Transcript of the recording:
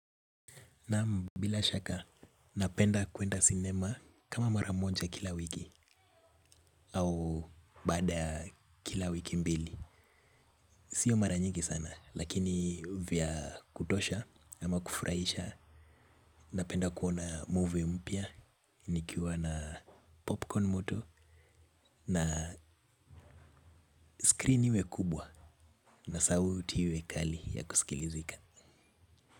Naam bila shaka, napenda kuenda sinema kama maramoja kila wiki au baada kila wiki mbili. Sio mara nyingi sana, lakini vya kutosha ama kufurahisha, napenda kuona movie mpya, nikiwa na popcorn moto na screen iwe kubwa na sauti iwe kali ya kusikilizika.